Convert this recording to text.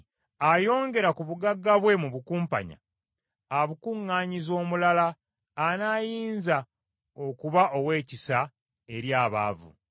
Ayongera ku bugagga bwe mu bukumpanya, abukuŋŋaanyiza omulala anaayinza okuba ow’ekisa eri abaavu.